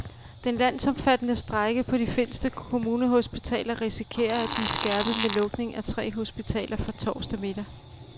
Den landsomfattende strejke på de finske kommunehospitaler risikerer at blive skærpet med lukning af tre hospitaler fra torsdag middag.